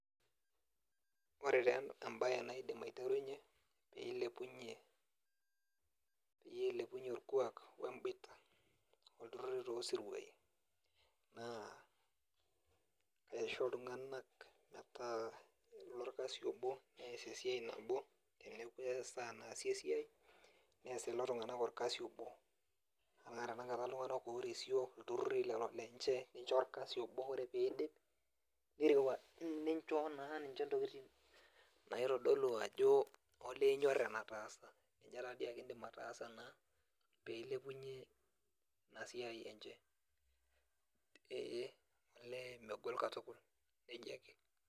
Ore taa embae naaidim aiteruinyie ,peyie eilepunyie orkuak wemboita tooosiruai mtaa lorkasi obo nees esiai nabo teneeku esaa naasi esiai nees lilo tunganak esiai nabo ana tenakata ltunganak oorisio nincho orkesi nabo ore pee eidip nincho naa ninche ntiokoting naitodolu ajo olee inyor enetaasa, ninye taadi ake indim ataasa pee ilepunye ina siai enche ,olee megol katukul nejia ake .